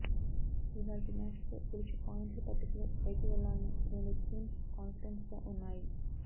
ఇవాళ్టి మ్యాచ్ లో గెలిచి పాయింట్ల పట్టికలో పైకి వెళ్లాలని రెండు టీమ్స్ కాన్ఫిడెన్స్ గా ఉన్నాయి